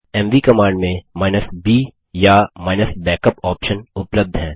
MV command में b या -backup option उपलब्ध हैं